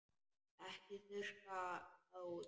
Ekki þurrka það út.